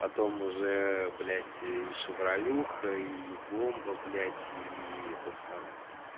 потом уже блять и шевралюха и бомба блять и этот самый